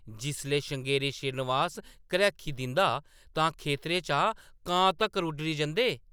जिसलै श्रृंगेरी श्रीनिवास घरैखी दिंदा तां खेतरै चा कां तक्कर उड्डी जंदे ।